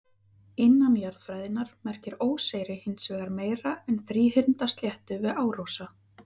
Innan jarðfræðinnar merkir óseyri hins vegar meira en þríhyrnda sléttu við árósa.